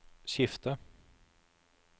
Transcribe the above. skifter